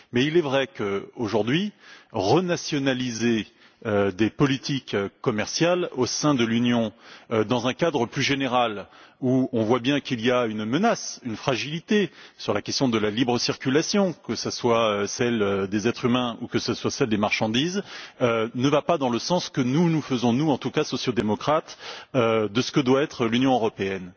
Mais il est vrai qu'aujourd'hui, renationaliser des politiques commerciales au sein de l'Union dans un contexte plus général où l'on voit bien qu'il y a une menace, une fragilité sur la question de la libre circulation, que ce soit celle des êtres humains ou celle des marchandises, ne correspond pas à l'idée que nous nous faisons, nous en tout cas sociaux démocrates, de ce que doit être l'Union européenne.